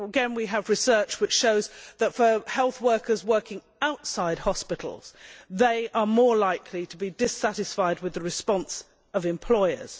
We have research which shows that health workers working outside hospitals are more likely to be dissatisfied with the response of employers.